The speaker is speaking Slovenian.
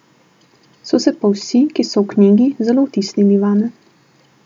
So se pa vsi, ki so v knjigi, zelo vtisnili vame.